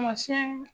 Tamasiyɛn